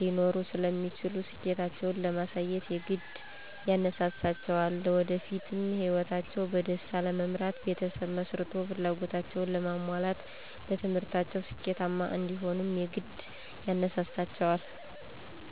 ሊኖሩ ስለሚችሉ ስኬታቸዉን ለማሳየት የግድ ያነሳሳቸዋልለወደፊት ህይወታቸዉን በደስታ ለመምራት ቤተሰብ መስርቶ ፍላጎታቸዉን ለማሟላት በትምህርታቸዉ ስኬታማ እንዲሆኑም የግድ ያነሳሳቸዋል።